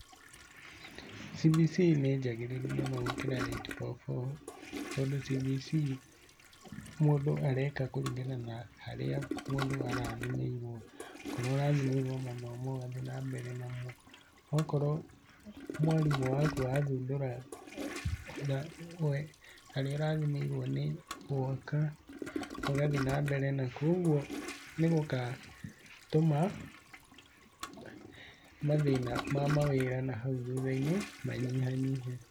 CBC nĩnjagĩrĩru mũno gũkĩra 8-4-4, tondũ CBC mũndũ areka kũringana na harĩa mũndũ arathimĩirwo, akorwo ũrathimĩirwo mathomo ũgathie mbere namo, akorwo mwarimũ waku athundũra haria ũrathimĩirwo nĩ gwaka, ũgathie na mbere na kũo koguo nĩgũgatũma mathĩna ma mawĩra na hau thuthainĩ manyihanyihe.